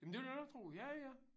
Jamen det vil jeg da godt tro ja ja